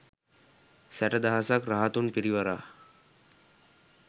සැටදහසක් රහතුන් පිරිවරා